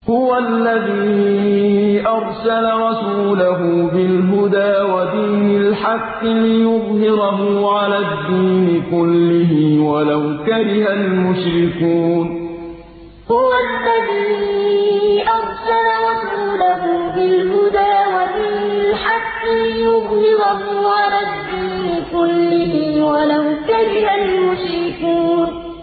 هُوَ الَّذِي أَرْسَلَ رَسُولَهُ بِالْهُدَىٰ وَدِينِ الْحَقِّ لِيُظْهِرَهُ عَلَى الدِّينِ كُلِّهِ وَلَوْ كَرِهَ الْمُشْرِكُونَ هُوَ الَّذِي أَرْسَلَ رَسُولَهُ بِالْهُدَىٰ وَدِينِ الْحَقِّ لِيُظْهِرَهُ عَلَى الدِّينِ كُلِّهِ وَلَوْ كَرِهَ الْمُشْرِكُونَ